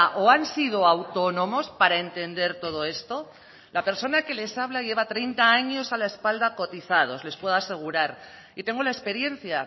o han sido autónomos para entender todo esto la persona que les habla lleva treinta años a la espalda cotizados les puedo asegurar y tengo la experiencia